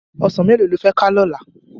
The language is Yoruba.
Òsán méló ló fè ká lòlá?